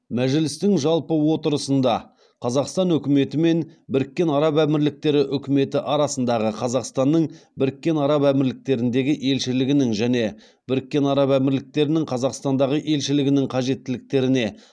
мәжілістің жалпы отырысында қазақстан үкіметі мен біріккен араб әмірліктері үкіметі арасындағы қазақстанның біріккен араб әмірліктеріндегі елшілігінің және біріккен араб әмірліктерінің қазақстандағы елшілігінің қажеттіліктеріне